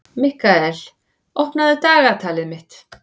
Mikkael, opnaðu dagatalið mitt.